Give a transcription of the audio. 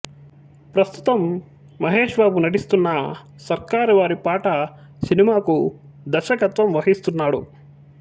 ప్రస్తుతం మహేష్ బాబు నటిస్తున్న సర్కారు వారి పాట సినిమాకు దర్శకత్వం వహిస్తున్నాడు